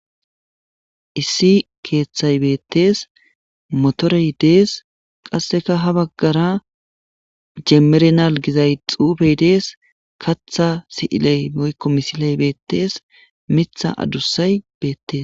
Issi keeththay beettees motorey dees qasseka ha baggara jemmerenal gizay xuubey dees katha si'iley moykko misiley beettees mitha adussay beettes.